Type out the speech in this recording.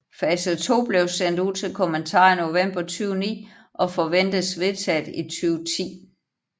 Fase 2 blev sendt ud til kommentar i november 2009 og forventes vedtaget i 2010